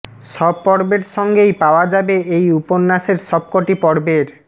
সব পর্বের সঙ্গেই পাওয়া যাবে এই উপন্যাসের সব কটি পর্বের